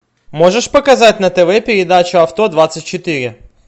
можешь показать на тв передачу авто двадцать четыре